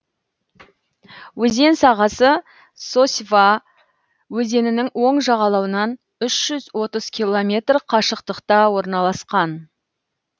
өзен сағасы сосьва өзенінің оң жағалауынан үш жүз отыз километр қашықтықта орналасқан